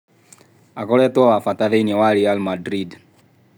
" Akoretwo wa bata thĩini wa Ri Mandrinda.